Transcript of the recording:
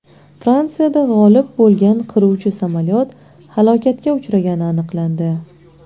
Fransiyada g‘oyib bo‘lgan qiruvchi samolyot halokatga uchragani aniqlandi.